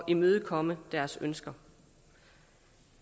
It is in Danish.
imødekomme deres ønsker